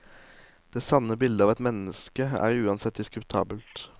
Det sanne bildet av et menneske er uansett diskutabelt.